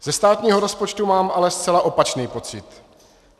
Ze státního rozpočtu mám ale zcela opačný pocit.